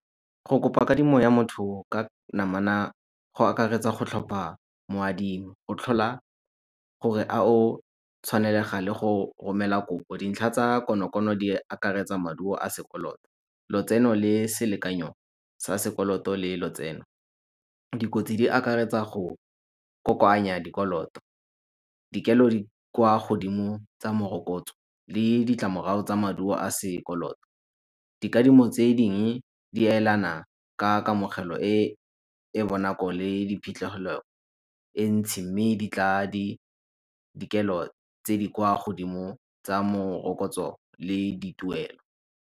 Go kopa kadimo ya motho ka namana go akaretsa go tlhopha mo adimi. O tlhola gore a o tshwanelega le go romela kopo. Dintlha tsa konokono di akaretsa maduo a sekoloto. Lotseno le selekanyo sa sekoloto le lotseno. Dikotsi di akaretsa go kokoanya dikoloto dikelo di kwa godimo tsa morokotso le ditlamorao tsa maduo a sekoloto. Dikadimo tse dingwe di elana ka kamogelo e e bonako le diphitlhegelo e entsi, mme di tla dikelo tse di kwa godimo tsa morokotso le di tuelo.